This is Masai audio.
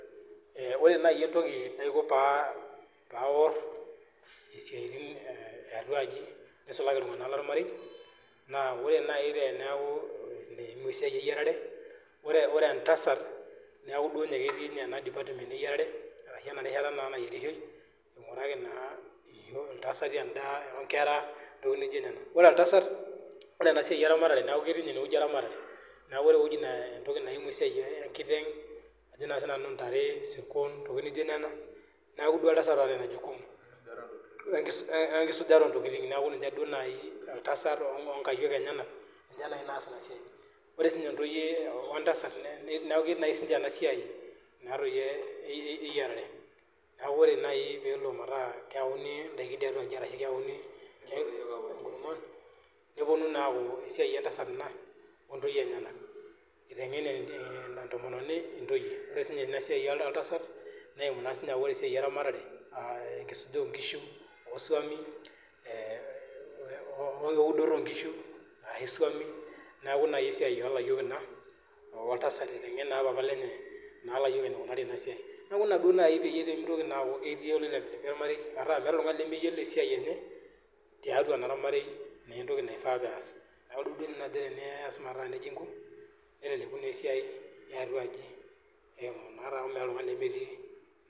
Ore nai entoki naiko paawor esiatin eatua aji, neisulaki ltunganak le ilmarei, naa ore naii teneaku eimu esiai eiyarare, ore entasat neaku duo ninye ketii ninye ena department eyarare arashu ena rishata naa nayerishoi, einguraki naa entasat endaa inkera ntokitin nijo nena, ore entasat ore ena siai eramatare naaku ketii ninye ineweji ermatare, naaku ore eweji naa entoki naimu esiai enkiteng' ajo sii nanu intare, isirkon, ntokitin nijo nena naaku duo intasat loot inia jukumu ekisujaro oontokitin naaku ninye duo naii oltasat onkaiyok enyena, ninye naii naas ena siai, ore sii ninye intoiye oltasat neaku ketii naii si ninye ena siai naa doi eyarare, naaku kore naii peelo metaa keyauni indaki tiatua, keyauni nkurumwan neponu naaku isiai entasat ena ontoiye enyena, eteing'en entomononi intoiye, ore sii ninye esiai oltasat neimu aii ninye esiai eramatare aa enkisuja oonkishumoo isiomi, oo udoro onkishu naa esuomi naaku nai isiai oo liyok inia oltasat eiteng'en naa papa lenye naa laiyok neikunari ena siaii, naaku inia duo nai peiye emeitoki duo aaku keyeu neilemilemi ormarei aaku ore iltungani lemeyiolo esiai enye tiatua naapa ormareibnaa entoki neifaa duo peyasnaaku ntoki duo najo nanu ore piinko neleleku naa esiai eatua aaji, meata naa ltungani lemetii.